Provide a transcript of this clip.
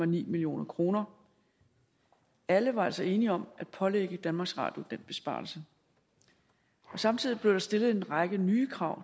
million kroner alle var altså enige om at pålægge danmarks radio den besparelse samtidig blev der stillet en række nye krav